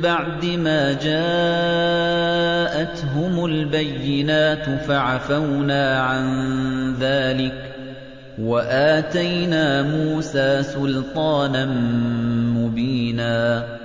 بَعْدِ مَا جَاءَتْهُمُ الْبَيِّنَاتُ فَعَفَوْنَا عَن ذَٰلِكَ ۚ وَآتَيْنَا مُوسَىٰ سُلْطَانًا مُّبِينًا